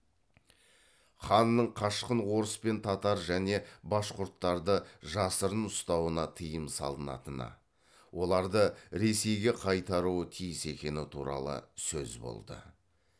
ханның қашқын орыс пен татар және башқұрттарды жасырын ұстауына тыйым салынатыны оларды ресейге қайтаруы тиіс екені туралы сөз болды